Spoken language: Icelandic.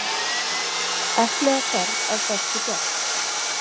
Epli á ferð af bestu gerð.